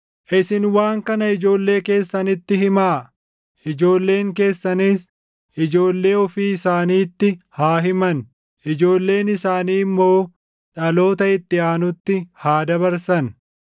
Isin waan kana ijoollee keessanitti himaa; ijoolleen keessanis ijoollee ofii isaaniitti haa himan; ijoolleen isaanii immoo dhaloota itti aanutti haa dabarsan.